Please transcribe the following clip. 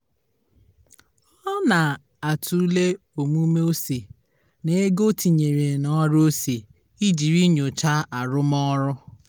ọ na-atụle omume ose na ego o tinyere n'ọrụ ose ijiri nyochaa arụmọrụ